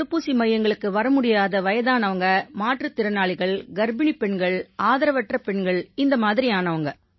தடுப்பூசி மையங்களுக்கு வர முடியாத வயதானவங்க மாற்றுத் திறனாளிகள் கர்ப்பிணிப் பெண்கள் இந்த மாதிரியானவங்க